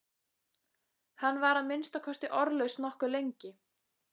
Hann var að minnsta kosti orðlaus nokkuð lengi.